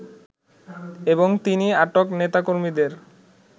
এবং তিনি আটক নেতাকর্মীদের